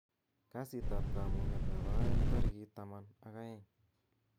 kasit ab kamung'et nebo oeng' tarigit taman ak oeng'